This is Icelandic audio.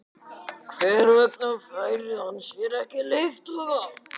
Hver vegna fær hann sér ekki leiðtoga?